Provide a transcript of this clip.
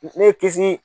Ne ye kisi